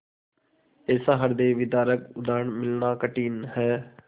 ऐसा हृदयविदारक उदाहरण मिलना कठिन है